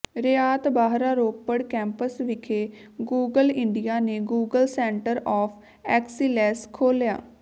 ਰਿਆਤ Bahra Ropar campus ਵਿਖੇ Google India ਨੇ Google centre of excellence ਖੋਲਿ੍ਹਆ